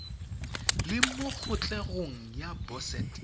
le mo kgatlhegong ya boset